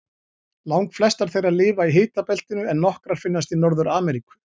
Langflestar þeirra lifa í hitabeltinu en nokkrar finnast í Norður-Ameríku.